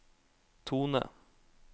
tone